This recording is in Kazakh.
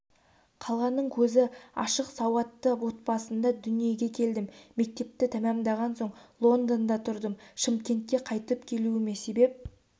қаланың көзі ашық сауатты отбасында дүниеге келдім мектепті тәмамдаған соң лондонда тұрдым шымкентке қайтып келуіме себеп